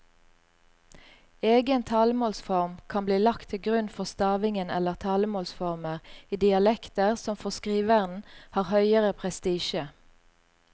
Egen talemålsform kan bli lagt til grunn for stavingen eller talemålsformer i dialekter som for skriveren har høgere prestisje.